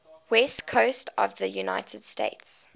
west coast of the united states